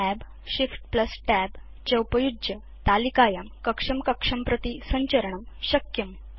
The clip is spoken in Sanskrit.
Tab ShiftTab च उपयुज्य तालिकायां कक्षं कक्षं प्रति संचरणं शक्यम्